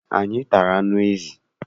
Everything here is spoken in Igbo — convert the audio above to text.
Anyị tara anụ ezi.